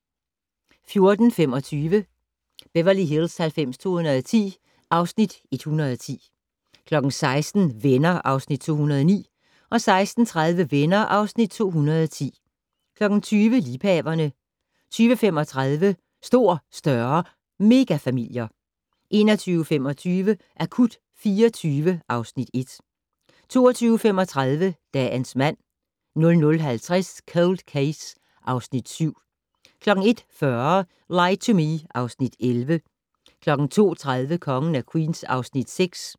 14:25: Beverly Hills 90210 (Afs. 110) 16:00: Venner (Afs. 209) 16:30: Venner (Afs. 210) 20:00: Liebhaverne 20:35: Stor, større - megafamilier 21:25: Akut 24 (Afs. 1) 22:35: Dagens mand 00:50: Cold Case (Afs. 7) 01:40: Lie to Me (Afs. 11) 02:30: Kongen af Queens (Afs. 6)